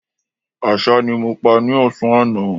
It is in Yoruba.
Àṣá ni mo pa ní ọ̀sán àná